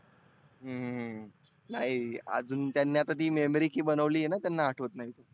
हम्म नाही आजुन त्यांनी आता ती memory key बनवली आहेना त्यांना आठवत नाही.